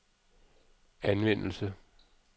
anvendelse